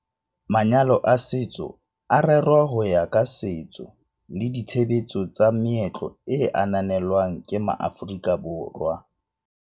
MvN- Manyalo a setso a rerwa ho ya ka setso le ditshebetso tsa meetlo e ananelwang ke maAforika Borwa.